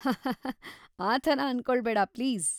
ಹಹ್ಹಹ್ಹಾ, ಆ ಥರ ಅನ್ಕೊಳ್ಬೇಡಾ ಪ್ಲೀಸ್.